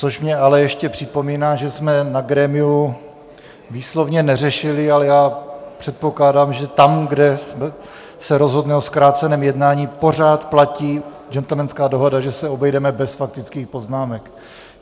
Což mi ale ještě připomíná, že jsme na grémiu výslovně neřešili, ale já předpokládám, že tam, kde se rozhodne o zkráceném jednání, pořád platí gentlemanská dohoda, že se obejdeme bez faktických poznámek.